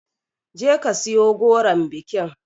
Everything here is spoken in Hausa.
Je ka siyo goron bikin